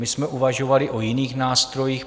My jsme uvažovali o jiných nástrojích.